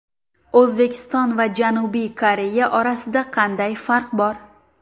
O‘zbekiston va Janubiy Koreya orasida qanday farq bor?